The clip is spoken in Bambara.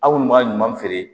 Aw kɔni b'a ɲuman feere